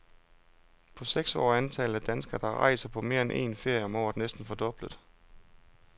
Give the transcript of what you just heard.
På seks år er antallet af danskere, der rejser på mere end een ferie om året næsten fordoblet.